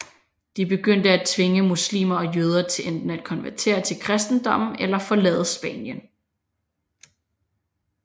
De begyndte at tvinge muslimer og jøder til enten at konvertere til kristendommen eller forlade Spanien